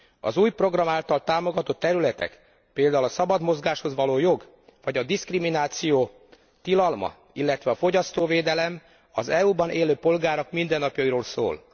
Az új program által támogatott területek, például a szabad mozgáshoz való jog vagy a diszkrimináció tilalma, illetve a fogyasztóvédelem az EU ban élő polgárok mindennapjairól szólnak.